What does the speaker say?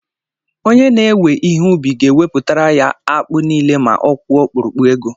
Onye na-ewe ihe ubi ga-éhopụtere ya akpụ nile ma ọ kwụọ ọkpurukpu ego